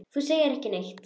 Þú segir ekki neitt.